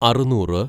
അറുന്നൂറ്